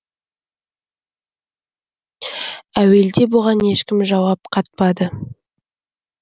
әуелде бұған ешкім жауап қатпады